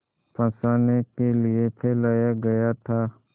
फँसाने के लिए फैलाया गया था